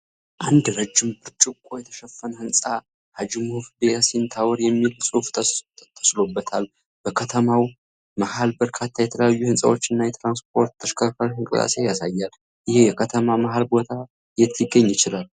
አንድ ረዥም ብርጭቆ የተሸፈነ ሕንጻ 'ሃጂ ሙሀመድ ያሲን ታወር' የሚል ጽሑፍ ተስሎበታል። በከተማው መሀል በርካታ የተለያዩ ሕንጻዎችና የትራንስፖርት ተሽከርካሪዎች እንቅስቃሴ ያሳያል። ይህ የከተማ መሀል ቦታ የት ሊገኝ ይችላል?